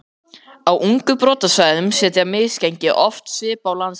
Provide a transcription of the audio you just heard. Á ungum brotasvæðum setja misgengi oft svip á landslag.